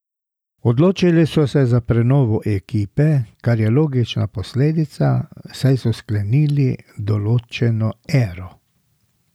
Odločili so se za prenovo ekipe, kar je logična posledica, saj so sklenili določeno ero.